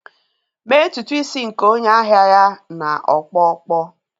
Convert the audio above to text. Mee ntutu isi nke onye ahịa ya na ọkpọ ọkpọ